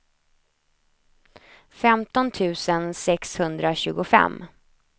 femton tusen sexhundratjugofem